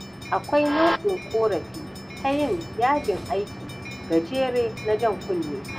Akwai nau'in ƙorafi ta yin yajin aiki gajere na jan kunne.